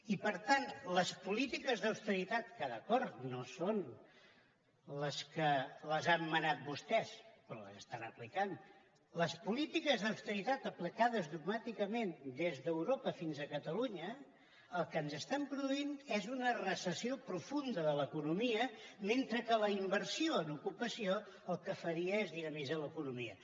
i per tant les polítiques d’austeritat que d’acord no són les que han manat vostès però les estan aplicant les polítiques d’austeritat aplicades dogmàticament des d’europa fins a catalunya el que ens estan produint és una recessió profunda de l’economia mentre que la inversió en ocupació el que faria és dinamitzar l’economia